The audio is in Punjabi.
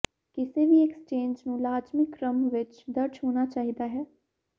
ਕਿਸੇ ਵੀ ਐਕਸਚੇਂਜ ਨੂੰ ਲਾਜ਼ਮੀ ਕ੍ਰਮ ਵਿੱਚ ਦਰਜ ਹੋਣਾ ਚਾਹੀਦਾ ਹੈ